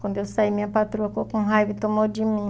Quando eu saí, minha patroa ficou com raiva e tomou de mim.